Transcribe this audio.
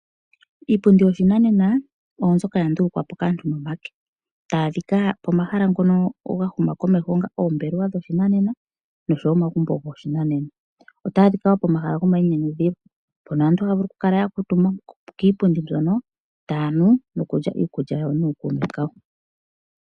Iipundi yoshinanena oyo mbyoka ya ndulukwa po kaantu nomake. Otayi adhika pomahala ngono ga huma komeho onga oombelewa dhoshinanena noshowo omagumbo goshinanena. Otayi adhika wo pomahala gomainyanyudhilo mpono aantu haya vulu okukala ya kuutumba kiipundi mbyono taya nu nokulya iikulya yawo nookuume kawo.